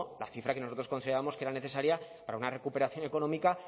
la cifra que nosotros considerábamos que era necesaria para una recuperación económica